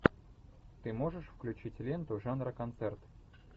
ты можешь включить ленту жанра концерт